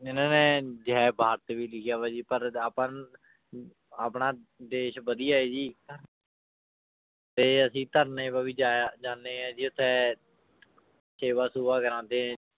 ਇਹਨਾਂ ਨੇ ਜੈ ਭਾਰਤ ਵੀ ਲਿਖਿਆ ਵਾ ਜੀ ਪਰ ਆਪਾਂ ਨੂੰ ਅਮ ਆਪਣਾ ਦੇਸ ਵਧੀਆ ਹੈ ਜੀ ਤੇ ਅਸੀਂ ਧਰਨੇ ਜਾਇਆ ਜਾਂਦੇ ਹਾਂ ਜੀ ਉੱਥੇ ਸੇਵਾ ਸੂਵਾ ਕਰਵਾਉਂਦੇ ਹੈਂ